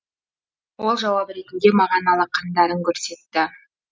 ол жауап ретінде маған алақандарын көрсетті